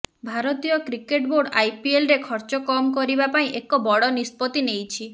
ଭାରତୀୟ cricket board ଆଇପିଏଲ୍ରେ ଖର୍ଚ୍ଚ କମ୍ କରିବା ପାଇଁ ଏକ ବଡ଼ ନିଷ୍ପତ୍ତି ନେଇଛି